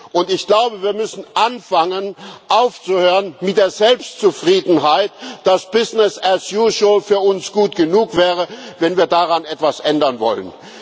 Und ich glaube, wir müssen anfangen, aufzuhören mit der Selbstzufriedenheit, dass business as usual für uns gut genug wäre, wenn wir daran etwas ändern wollen.